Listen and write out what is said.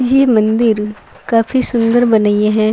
ई मंदिर काफी सुन्दर बनाई हेन।